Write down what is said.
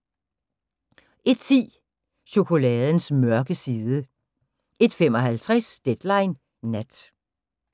01:10: Chokoladens mørke side 01:55: Deadline Nat